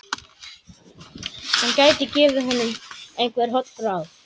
Hann gæti gefið honum einhver holl ráð.